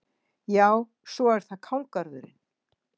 Já, svo er það kálgarðurinn.